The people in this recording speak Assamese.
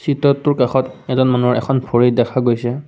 চিত্ৰটোৰ কাষত এজন মানুহৰ এখন ভৰি দেখা গৈছে।